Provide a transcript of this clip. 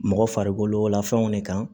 Mɔgɔ farikolola fɛnw de kan